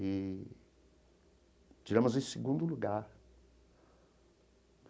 E tiramos em segundo lugar.